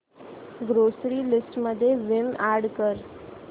grocery list मध्ये Vim add कर